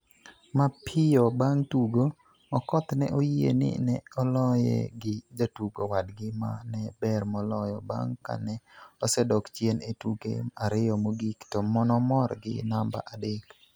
Mapiyo bang' tugo, Okoth ne oyie ni ne oloye gi jatugo wadgi ma ne ber moloyo bang' ka ne osedok chien e tuke ariyo mogik to nomor gi namba adek.